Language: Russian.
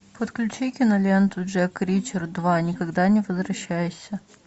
подключи киноленту джек ричер два никогда не возвращайся